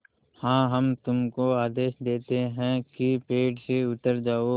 हाँ हम तुमको आदेश देते हैं कि पेड़ से उतर जाओ